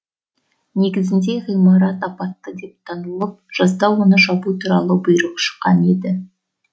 негізінде ғимарат апатты деп танылып жазда оны жабу туралы бұйрық шыққан еді